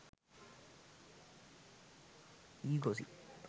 e gossip